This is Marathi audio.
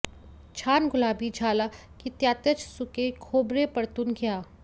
छान गुलाबी झाला की त्यातच सुके खोबरे परतून घ्या